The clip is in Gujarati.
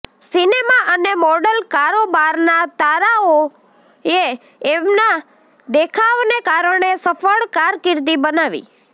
સિનેમા અને મોડલ કારોબારના તારોએ તેમના દેખાવને કારણે સફળ કારકિર્દી બનાવી